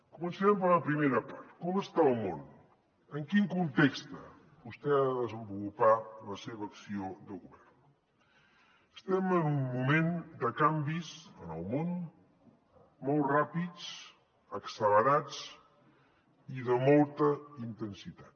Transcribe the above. començarem per la primera part com està el món en quin context vostè ha de desenvolupar la seva acció de govern estem en un moment de canvis en el món molt ràpids accelerats i de molta intensitat